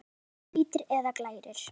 Oftast nær hvítir eða glærir.